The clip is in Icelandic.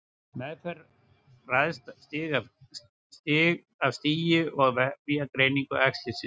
Meðferð ræðst af stigi og vefjagreiningu æxlisins.